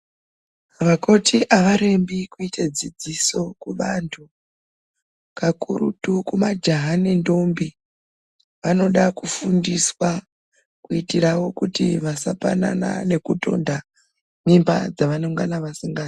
Vakoti avarembi kuite dzidziso kubantu kakurutu kumajaha ngendombi anoda kufundiswa kuitirawo kuti vasapanana nekutonda mumba dzavanenge vasingadi.